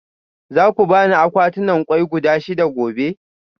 Za ku ba ni akwatunan kwai guda shida gobe?